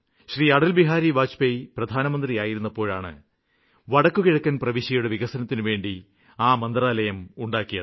അടല്ബിഹാരി വാജ്പേയ് പ്രധാനമന്ത്രി ആയിരുന്നപ്പോഴാണ് വടക്കുകിഴക്കന് സംസ്ഥാനങ്ങളുടെ വികസനത്തിനുവേണ്ടി ആ മന്ത്രാലയം ഉണ്ടാക്കിയത്